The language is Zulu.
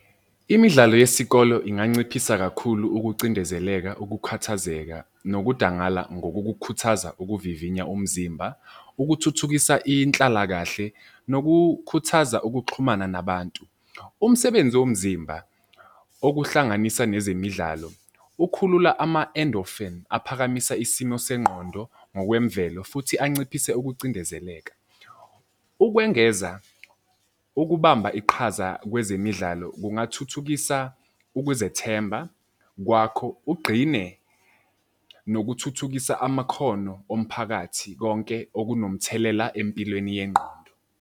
Imidlalo yesikolo inganciphisa kakhulu ukucindezeleka, ukukhathazeka nokudangala ngokukukhuthaza ukuvivinya umzimba, ukuthuthukisa inhlalakahle nokukhuthaza ukuxhumana nabantu. Umsebenzi womzimba, okuhlanganisa nezemidlalo ukhulula ama-endorphin aphakamisa isimo sengqondo ngokwemvelo futhi anciphise ukucindezeleka. Ukwengeza ukubamba iqhaza kwezemidlalo kungathuthukisa ukuzethemba kwakho ugqine nokuthuthukisa amakhono omphakathi, konke okunomthelela empilweni yengqondo.